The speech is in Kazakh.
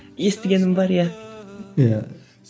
естігенім бар иә иә